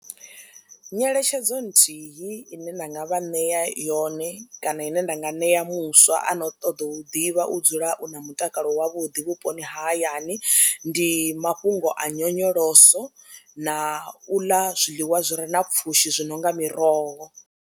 Nyeletshedzo nthihi ine nda nga vha ṋea yone kana ine ndanga ṋea muswa a no u ṱoḓa u ḓivha u dzula u na mutakalo wavhuḓi vhuponi ha hayani, ndi mafhungo a nyonyoloso na u ḽa zwiḽiwa zwi re na pfhushi zwi no nga miroho.